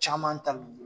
Caman ta l'u bolo